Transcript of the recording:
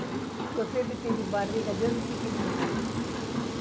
Porque eu sempre tive barriga desde pequenininha.